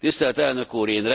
Tisztelt Elnök úr!